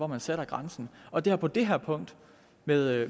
man sætter grænsen og det har på det her punkt med